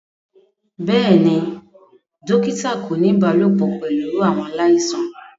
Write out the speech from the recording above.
Bẹẹni, dokita ko ni ibalopọ pẹlu awọn alaisan.